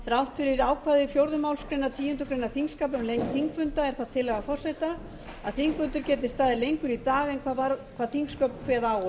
þrátt fyrir ákvæði fjórðu málsgreinar tíundu greinar þingskapa um lengd þingfunda er það tillaga forseta að þingfundir geti staðið lengur í dag en þingsköp kveða á